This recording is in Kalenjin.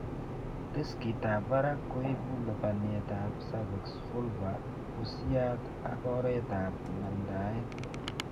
Riskitab barak koibu lubaniat ab cervix, vulva, busiat, ak oret ab mandaet